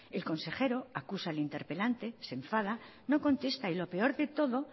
el consejero acusa al interpelante se enfada no contesta y lo peor de todo